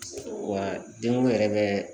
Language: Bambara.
Wa jɔn yɛrɛ bɛ